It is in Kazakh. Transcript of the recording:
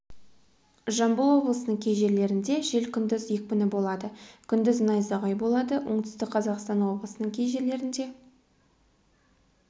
жамбыл облысының кей жерлерінде жел күндіз екпіні болады күндіз найзағай болады оңтүстік қазақстан облысының кей жерлерінде